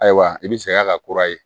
Ayiwa i bɛ saya ka kura ye